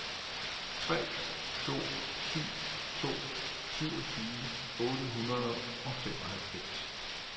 tre to syv to syvogtyve otte hundrede og femoghalvfems